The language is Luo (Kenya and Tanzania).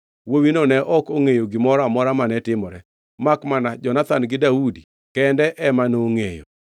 Wuowino ne ok ongʼeyo gimoro amora mane timore, makmana Jonathan gi Daudi kende ema nongʼeyo.